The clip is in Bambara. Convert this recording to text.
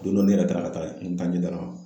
Don dɔ ne yɛrɛ taara ka taa n taa ɲɛgɛn na